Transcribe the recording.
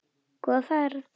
Góða ferð!